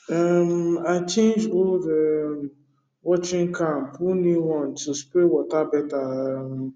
um i change old um watering can put new one to spread water better um